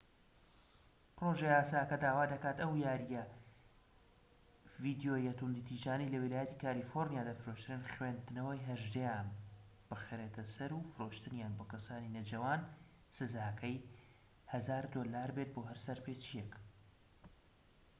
پرۆژە یاساکە داوا دەکات کە ئەو یاریە ڤیدیۆییە توندوتیژانەی لە ویلایەتی کالیفۆرنیا دەفرۆشرێن خوێندنەوەی 18"یان بخرێتە سەر و فرۆشتنیان بۆ کەسانی نەجەوان سزاکەی 1000 دۆلار بێت بۆ هەر سەرپێچیەک